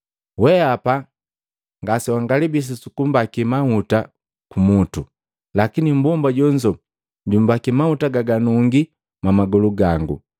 Wehapa ngasewangalibisi sukumbaki mahuta kumutu, lakini mmbomba jonzo jumbaki mahuta gaganungi mwamagolu gango.